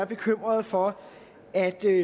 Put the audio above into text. bekymrede for at